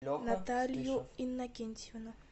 наталию иннокентьевну